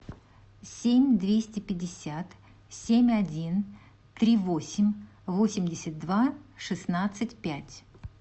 семь двести пятьдесят семь один три восемь восемьдесят два шестнадцать пять